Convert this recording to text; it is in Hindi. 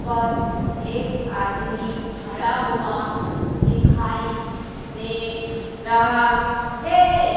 पर एक आदमी खड़ा हुआ दिखाई दे रहा है।